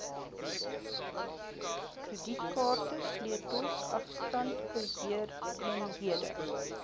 kredietkaarte sleutels afstandbeheereenhede